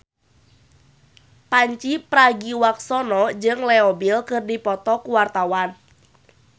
Pandji Pragiwaksono jeung Leo Bill keur dipoto ku wartawan